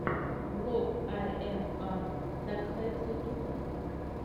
влог ай эм аа дакхэд ютьюб